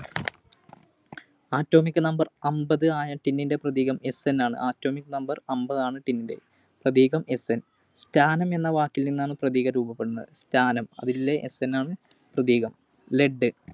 Atomic Number അമ്പതായ Tin ൻറെ പ്രതീകം Sn ആണ്. Atomic Number അമ്പത് ആണ് Tin ന്റെ പ്രതീകം Sn. Stannum എന്ന വാക്കിൽനിന്നാണ് പ്രതീകം രൂപപ്പെടുന്നത്‌. Stannum അതിലെ Sn ആണ് പ്രതീകം. Lead